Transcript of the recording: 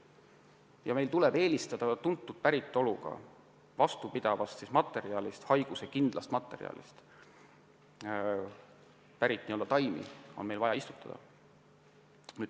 Seejuures tuleb meil eelistada tuntud päritolu vastupidavast, s.o haiguskindlast materjalist taimi – just neid on meil vaja istutada.